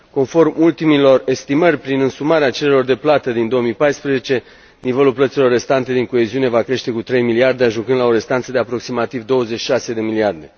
Conform ultimelor estimări, prin însumarea cererilor de plată din 2014, nivelul plăților restante din coeziune va crește cu 3 miliarde, ajungând la o restanță de aproximativ 26 de miliarde.